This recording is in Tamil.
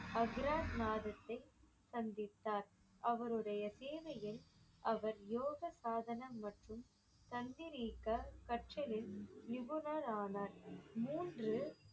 அக்ரா மாதத்தை சந்தித்தார் அவருடைய சேவையில் அவர் யோக சாதனா மற்றும் தந்திரிக்க கற்றலின் நிபுணர் ஆனார் மூன்று